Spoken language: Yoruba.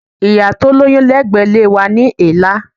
Ìyá tó lóyún lẹ́gbẹ̀ẹ́ ilé wa ní èélá.